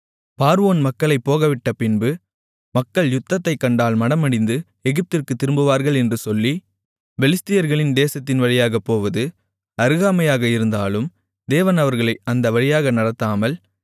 பார்வோன் மக்களைப் போகவிட்டபின்பு மக்கள் யுத்தத்தைக் கண்டால் மனமடிந்து எகிப்திற்குத் திரும்புவார்கள் என்று சொல்லி பெலிஸ்தர்களின் தேசத்தின் வழியாகப் போவது அருகாமையாக இருந்தாலும் தேவன் அவர்களை அந்த வழியாக நடத்தாமல்